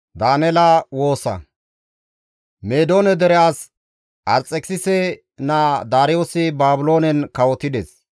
Meedoone dere as Arxekisise naa Daariyoosi Baabiloonen kawotides.